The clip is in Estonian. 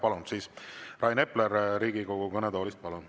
Palun Riigikogu kõnetooli Rain Epleri.